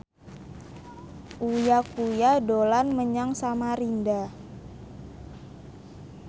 Uya Kuya dolan menyang Samarinda